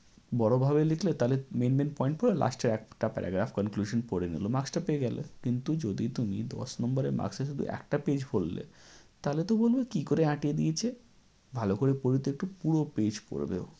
বড়ভাবে লিখলে তাহলে main main point পড়ে last এর একটা paragraph conclusion পড়ে নিলো, marks টা পেয়ে গেলে। কিন্তু যদি তুমি দশ number এর marks এ শুধু একটা page ভরলে তাহলে তো ও বলবে কী করে আঁটিয়ে দিয়েছে, ভালো করে পড়ি তো একটু। পুরো page পড়বে ও।